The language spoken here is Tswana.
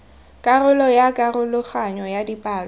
karolo ya karologanyo ya dipalo